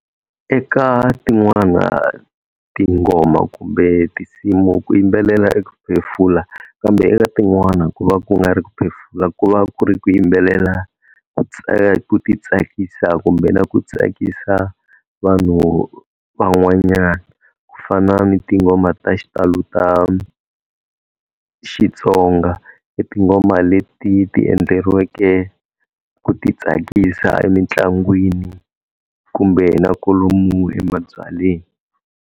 Eka tin'wana tinghoma kumbe tinsimu ku yimbelela i ku phefula, kambe eka tin'wana ku va ku nga ri ku phefula ku va ku ri ku yimbelela ku ti tsakisa kumbe na ku tsakisa vanhu van'wanyana, ku fana ni tinghoma ta xitalo ta Xitsonga i tinghoma leti ti endleriweke ku ti tsakisa emitlangwini kumbe na kolomu emabyalweni.